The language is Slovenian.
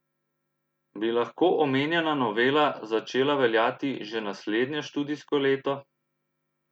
Bi lahko omenjena novela začela veljati že naslednje študijsko leto?